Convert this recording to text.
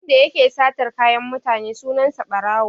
Wanda yake satar kayan mutane sunan sa Ɓarawo.